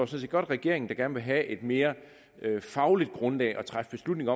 set godt regeringen der gerne vil have et mere fagligt grundlag at træffe beslutning